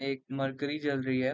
एक मरकरी जल रही है।